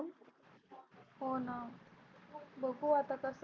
हो ना बघू आता कस